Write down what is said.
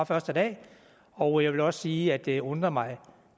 første dag og jeg vil også sige at det undrer mig